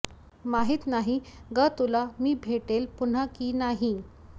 माहित नाही ग तुला मी भेटेल पुन्हा कि नाही